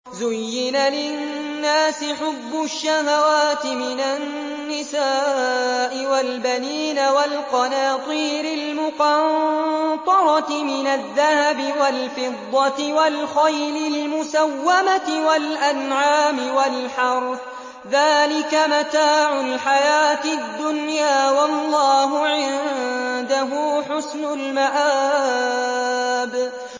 زُيِّنَ لِلنَّاسِ حُبُّ الشَّهَوَاتِ مِنَ النِّسَاءِ وَالْبَنِينَ وَالْقَنَاطِيرِ الْمُقَنطَرَةِ مِنَ الذَّهَبِ وَالْفِضَّةِ وَالْخَيْلِ الْمُسَوَّمَةِ وَالْأَنْعَامِ وَالْحَرْثِ ۗ ذَٰلِكَ مَتَاعُ الْحَيَاةِ الدُّنْيَا ۖ وَاللَّهُ عِندَهُ حُسْنُ الْمَآبِ